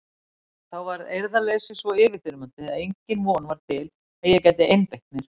Þá varð eirðarleysið svo yfirþyrmandi að engin von var til að ég gæti einbeitt mér.